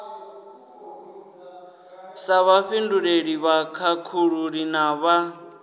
sa vhafhinduleli vhakhakhululi na vhad